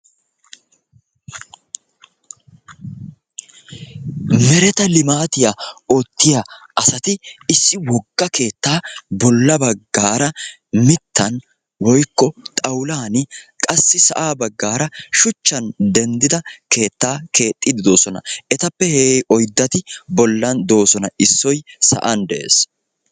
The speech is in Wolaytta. Mereta limaatiya oottiya asati issi wogga keetta bolla baggar mittan woykko xaawulan qassi sa'a baggara shuchchan denddida keetta keexxide doosona etappe oyddati bollan de'oosona issoy sa'an de'ees.